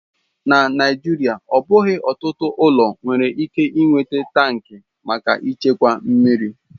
Na Naijiria, ọ bụghị ọtụtụ ụlọ nwere ike ị nweta tankị maka ịchekwa mmiri.